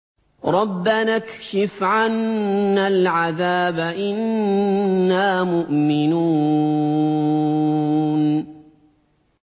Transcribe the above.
رَّبَّنَا اكْشِفْ عَنَّا الْعَذَابَ إِنَّا مُؤْمِنُونَ